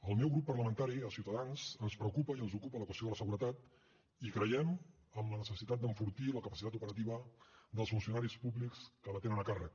al meu grup parlamentari a ciutadans ens preocupa i ens ocupa la qüestió de la seguretat i creiem en la necessitat d’enfortir la capacitat operativa dels funcionaris públics que la tenen a càrrec